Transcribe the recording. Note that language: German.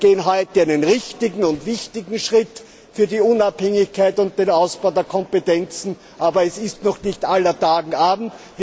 Wir gehen heute einen richtigen und wichtigen Schritt für die Unabhängigkeit und den Ausbau der Kompetenzen, aber es ist noch nicht aller Tage Abend.